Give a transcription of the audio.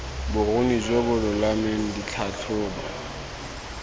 boruni jo bo lolameng ditlhatlhobo